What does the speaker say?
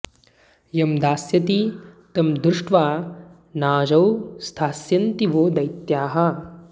यं दास्यति तं दृष्ट्वा नाजौ स्थास्यन्ति वो दैत्याः